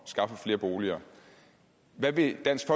skaffe flere boliger hvad vil dansk